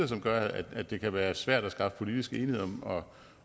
som gør at det kan være svært at skaffe politisk enighed om om